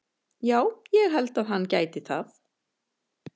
Já ég held að hann gæti það.